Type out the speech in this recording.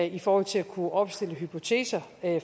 i forhold til at kunne opstille hypoteser